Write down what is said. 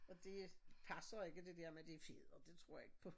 Og det øh passer ikke det dér med det feder det tror jeg ikke på